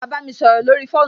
Ṣé wà á bámi sọrọ lórí fóònù?